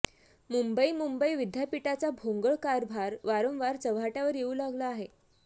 मुंबई मुंबई विद्यापीठाचा भोंगळ कारभार वारंवार चव्हाटय़ावर येऊ लागला आहे